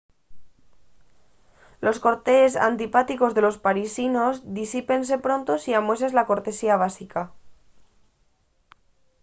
los cortes antipáticos de los parisinos disípense pronto si amueses la cortesía básica